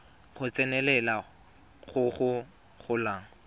go tsenelela go go golang